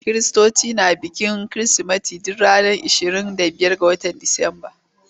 Kiristoci na bikin Kirsimeti duk ranar ashirin da biyar ga watan Disamba.